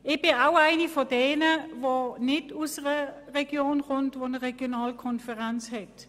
Ich komme aus einer Region, die keine Regionalkonferenz hat.